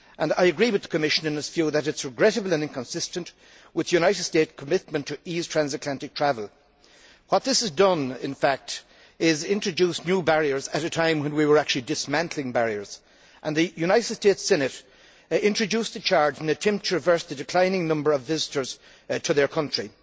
I agree with the Commission, in this field, that this is regrettable and inconsistent with the United States' commitment to ease transatlantic travel. What this has done, in fact, is to introduce new barriers at a time when we were actually dismantling barriers, with the United States Senate introducing the charge in an attempt to reverse the declining number of visitors to its country.